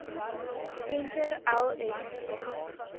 venter l s